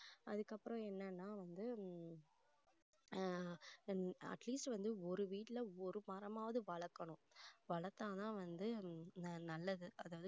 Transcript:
அதுக்கப்புறம் என்னன்னா வந்து உம் ஆஹ் atleast வந்து ஒரு வீட்டுல ஒரு மரமாவது வளக்கணும் வளர்த்தா தான் வந்து நல்லது அதாவது